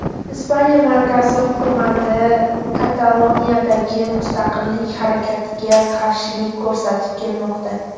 Ispaniya markaziy hukumati Kataloniyadagi mustaqillik harakatiga qarshilik ko‘rsatib kelmoqda.